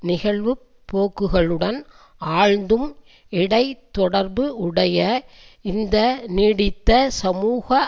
நிகழ்வுப்போக்குகளுடன் ஆழ்ந்தும் இடை தொடர்பு உடைய இந்த நீடித்த சமூக